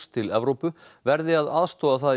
til Evrópu verði að aðstoða það í